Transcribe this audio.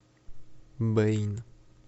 блин